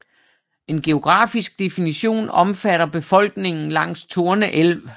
En geografisk definition omfatter befolkningen langs Torne elv